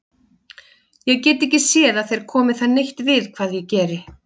Ég get ekki séð að þér komi það neitt við hvað ég geri.